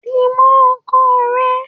Di mó ọkọ rẹ!